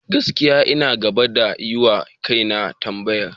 Gaskiya, ina gaba da yiwa kaina tambayar.